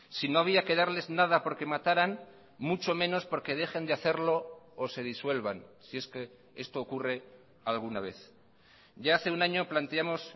si no había que darles nada porque mataran mucho menos porque dejen de hacerlo o se disuelvan si es que esto ocurre alguna vez ya hace un año planteamos